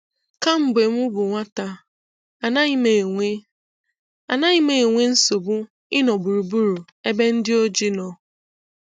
Kemgbe m bụ nwata, anaghị m enwe anaghị m enwe nsogbu ịnọ gburugburu ebe ndị ojii nọ.